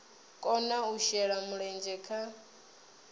kona u shela mulenzhe kha